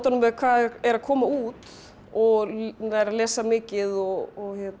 hvað er að koma út og nær að lesa mikið og